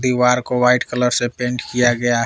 दीवार को white colour से पेंट किया गया ह--